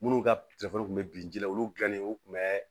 Minnu ka kun bɛ bin ji la olu dilannen u tun bɛ